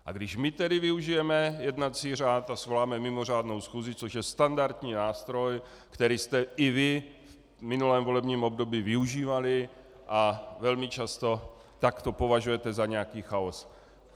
A když tedy my využijeme jednací řád a svoláme mimořádnou schůzi, což je standardní nástroj, který jste i vy v minulém volebním období využívali, a velmi často, tak to považujete za nějaký chaos.